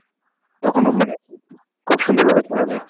তখনও মানে খুব সুন্দর ভাবে খেলা যায়।